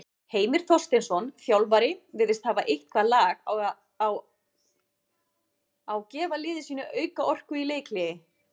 Heimir Þorsteinsson, þjálfari virðist hafa eitthvað lag á gefa liði sínu auka orku í leikhléi.